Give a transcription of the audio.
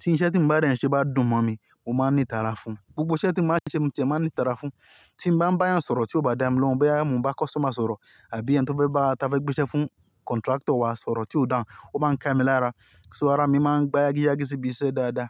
tí iṣẹ́ tí mo bá dẹ̀ n se bá dùn mọ́ mi, mo máa ń ní ìtara fún un. Gbogbo iṣẹ́ tí mo bá ṣe mó tiẹ̀ máa ń ní ìtara fún. Tí n bá ń bá èyàn sọ̀rọ̀ tí ó bá dá mi lóhùn, bóyá mò n bá customer sọ̀rọ̀ àbí ẹni tí ó fẹ́ bá wa táfà gbéṣẹ́ fún contractor wá sọ̀rọ̀ tí ó dáhùn, ó máa ń ka mi lára. So ara mi máa ń gba yágíyágí sí ibi iṣẹ́ dáadáa.